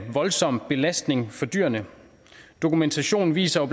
voldsom belastning for dyrene dokumentationen viser